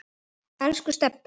Elsku Stebbi.